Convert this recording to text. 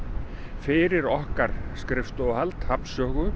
fyrir okkar skrifstofuhald hafnsögu